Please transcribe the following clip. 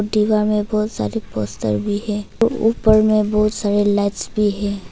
दीवार में बहुत सारी पोस्टर भी है ऊपर में बहुत सारे लाइट्स भी है।